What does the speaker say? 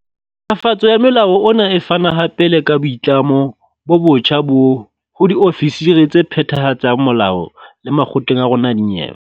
Fatso ya molao ona e fana hape le ka boitlamo bo botjha ho diofisiri tse phethahatsang molao le makgotleng a rona a dinyewe.